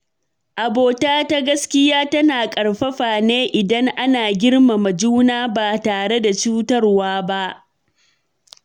Abota ta gaskiya tana ƙarfafa ne idan ana girmama juna ba tare da cutarwa ba.